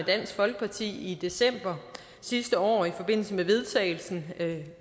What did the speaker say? dansk folkeparti i december sidste år i forbindelse med vedtagelsen